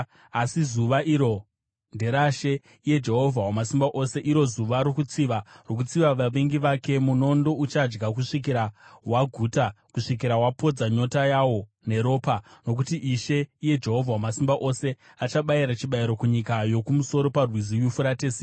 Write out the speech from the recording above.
Asi zuva iro nderaShe, iye Jehovha Wamasimba Ose, iro zuva rokutsiva, rokutsiva vavengi vake. Munondo uchadya kusvikira waguta, kusvikira wapodza nyota yawo neropa. Nokuti Ishe, iye Jehovha Wamasimba Ose, achabayira chibayiro kunyika yokumusoro paRwizi Yufuratesi.